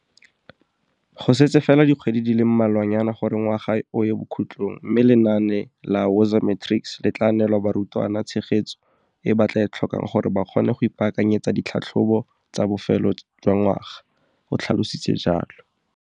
Go setse fela dikgwedi di le mmalwanyana gore ngwaga o ye bokhutlong mme lenaane la Woza Matrics le tla neela barutwana tshegetso e ba e tlhokang gore ba kgone go ipaakanyetsa ditlhatlhobo tsa bofelo jwangwaga, o tlhalositse jalo.